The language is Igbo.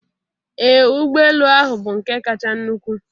Ee ụgbọ elu ahu bụ nke kacha nnukwu.